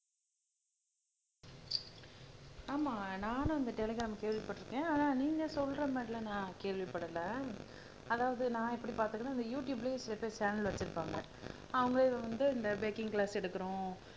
ஆமா நானும் அந்த டெலிகிராம் கேள்விப்பட்டிருக்கேன் ஆனா நீங்க சொல்ற மாதிரி எல்லாம் நான் கேள்விப்படலை அதாவது நான் எப்படி இந்த யுடுயூப்லயே சில பேர் சேனல் வச்சிருப்பாங்க அவங்க இதை வந்து இந்த பேக்கிங் க்ளாஸ் எடுக்கிறோம்